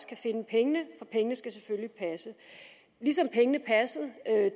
kan finde pengene for pengene skal selvfølgelig passe ligesom pengene passede